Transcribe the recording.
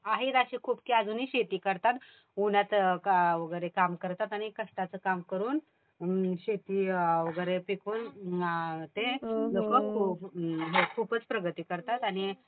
आहेत अशे खूप जे अजूनही शेती करतात. उन्हात वगैरे काम करतात आणि कष्टाचं काम करून शेती वगैरे पिकवून ते लोकं खूपच प्रगती करतात आणि